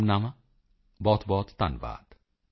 ਬਹੁਤਬਹੁਤ ਸ਼ੁਭਕਾਮਨਾਵਾਂ ਬਹੁਤਬਹੁਤ ਧੰਨਵਾਦ